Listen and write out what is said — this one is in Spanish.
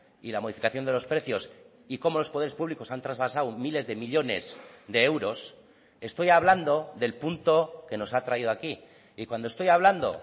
y la modificación de los precios y cómo los poderes públicos han trasvasado miles de millónes de euros estoy hablando del punto que nos ha traído aquí y cuando estoy hablando